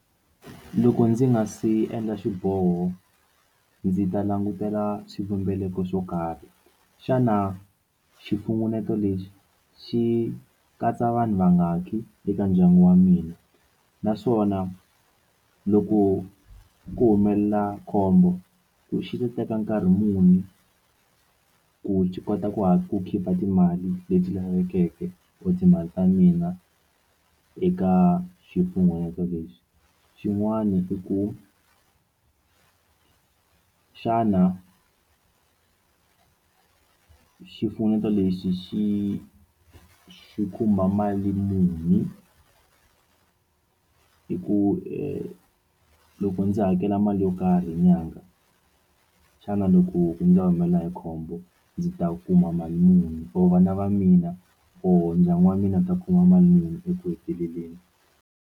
Loko ndzi nga si endla xiboho ndzi ta langutela swivumbeko swo karhi xana xifungeneto lexi xi katsa vanhu vangaki eka ndyangu wa mina naswona loko ku humelela khombo ku xi teka nkarhi muni ku kota ku ku khipha timali leti lavekeke or timali ta mina eka xifunengeto lexi xin'wana i ku xana xifunengeto lexi xi xi khumba mali muni hi ku loko ndzi hakela mali yo karhi hi nyangha xana loko ndzi humelela hi khombo ndzi ta kuma mali muni or vana va mina or ndyangu wa mina wu ta kuma mali muni eku heteleleni.